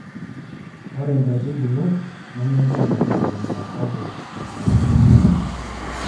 ore inkaitubulu ime enchan ake itegemeya kake ata enchalan oo nkulupuok